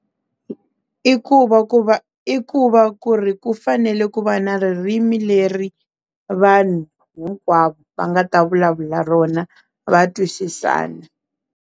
I ku va ku va i ku va ku ri ku fanele ku va na ririmi leri vanhu hinkwavo va nga ta vulavula rona va twisisana.